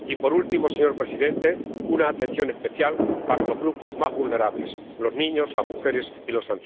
Y por último, señor presidente, una atención especial para los grupos más vulnerables los niños, las mujeres y los